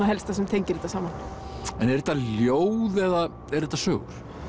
helsta sem tengir þetta saman en eru þetta ljóð eða eru þetta sögur